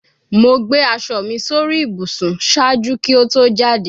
Mo gbe aṣọ mi sori ibusun ṣaaju ki o to jade